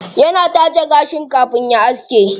Yana taje gashi kafin ya aske.